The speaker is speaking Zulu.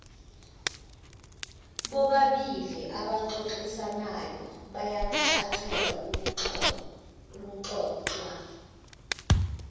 bobabiliabaxoxisanayo bayacacelwa okuxoxwa